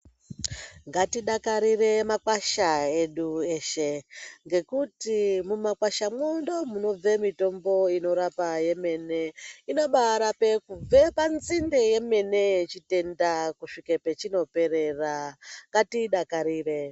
Ngatidakarire makwasha edu eshe, ngekuti mumakwashamwo ndomune mitombo inorapa yemene. Inobaarape kubve panzinde yemene yechitenda, kusvike pachinoperera. Ngatiidakarire